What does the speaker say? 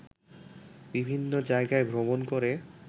বিভিন্ন জায়গায় ভ্রমণ করে